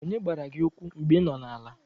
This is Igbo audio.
Onye gbara gị ụkwụ mgbe ị nọ n'ala?